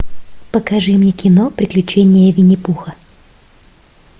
покажи мне кино приключение винни пуха